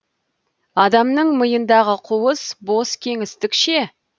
адамның миындағы қуыс бос кеңістік ше